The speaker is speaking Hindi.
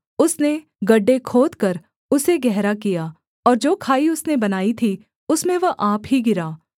उसने गड्ढे खोदकर उसे गहरा किया और जो खाई उसने बनाई थी उसमें वह आप ही गिरा